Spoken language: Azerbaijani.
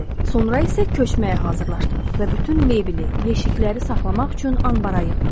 Sonra isə köçməyə hazırlaşdım və bütün mebeli, yeşikləri saxlamaq üçün ambara yığdıq.